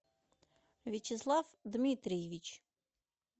вячеслав дмитриевич